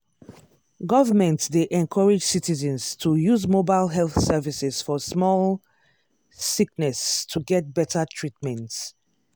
government dey encourage citizens to use mobile health services for small sickness to get better treatment.